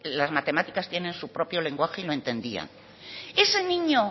las matemáticas tienen su propio lenguaje y lo entendía ese niño